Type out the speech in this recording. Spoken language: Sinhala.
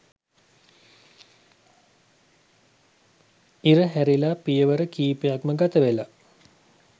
ඉර හැරිලා පියවර කීපයක්ම ගතවෙලා